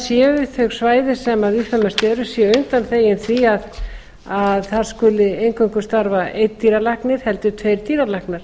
séu þau svæði sem víðfeðmum eru séu undanþegin því að þar skuli eingöngu starfa einn dýralæknir heldur tveir dýralæknar